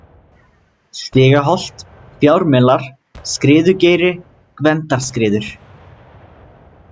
Stigaholt, Fjármelar, Skriðugeiri, Gvendarskriður